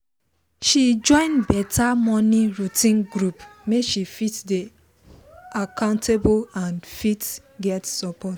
she join better morning routine group make she fit dey accountable and fit get support